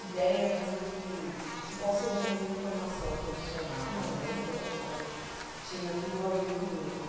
ideia do que de qual seria a minha formação profissional né, que eu achava que tinha tudo a ver comigo.